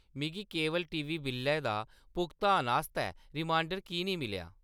मिगी cable TV बिल्लै दा भुगतान करने आस्तै रिमाइंडर की नेईं मिलेआ ?